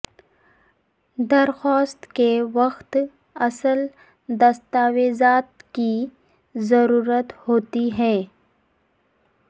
درخواست کے وقت اصل دستاویزات کی ضرورت ہوتی ہے